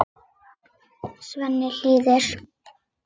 Svenni hlýðir.